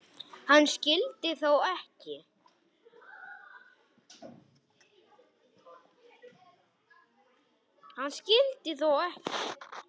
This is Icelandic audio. Hann skyldi þó ekki.